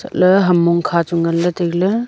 le ham mong kha chu ngan ley taile.